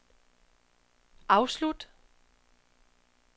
afslut